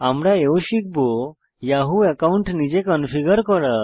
আমরা এও শিখব ইয়াহু অ্যাকাউন্ট নিজে কনফিগার করা